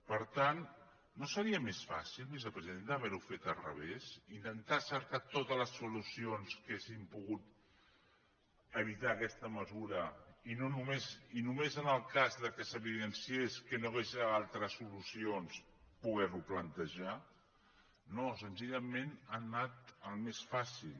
per tant no seria més fàcil vicepresidenta haver ho fet al revés intentar cercar totes les solucions que haurien pogut evitar aquesta mesura i només en el cas que s’evidenciés que no hi havia altres solucions poder ho plantejar no senzillament han anat al més fàcil